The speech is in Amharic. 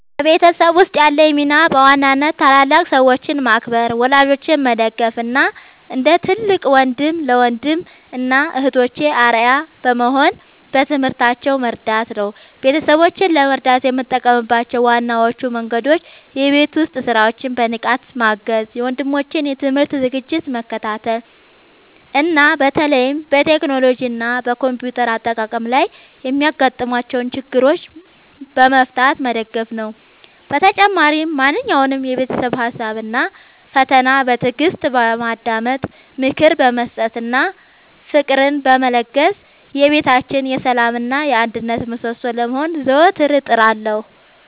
በቤተሰቤ ውስጥ ያለኝ ሚና በዋናነት ታላላቅ ሰዎችን ማክበር፣ ወላጆቼን መደገፍ እና እንደ ትልቅ ወንድም ለወንድም እና እህቶቼ አርአያ በመሆን በትምህርታቸው መርዳት ነው። ቤተሰቦቼን ለመርዳት የምጠቀምባቸው ዋነኞቹ መንገዶች የቤት ውስጥ ሥራዎችን በንቃት ማገዝ፣ የወንድሞቼን የትምህርት ዝግጅት መከታተል እና በተለይም በቴክኖሎጂ እና በኮምፒውተር አጠቃቀም ላይ የሚያጋጥሟቸውን ችግሮች በመፍታት መደገፍ ነው። በተጨማሪም ማንኛውንም የቤተሰብ ሀሳብ እና ፈተና በትዕግስት በማዳመጥ፣ ምክር በመስጠት እና ፍቅርን በመለገስ የቤታችን የሰላም እና የአንድነት ምሰሶ ለመሆን ዘወትር እጥራለሁ።